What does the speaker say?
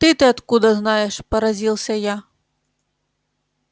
ты-то откуда знаешь поразился я